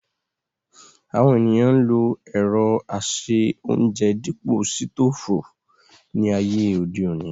Àwọn ènìyàn ń lo ẹ̀rọ ase-óúnjẹ dípò sítòfù ní ayé òde òní